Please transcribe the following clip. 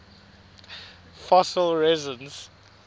fossil resins